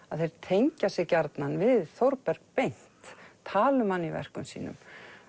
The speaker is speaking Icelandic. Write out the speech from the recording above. að þeir tengja sig gjarnan við Þórberg beint tala um hann í verkum sínum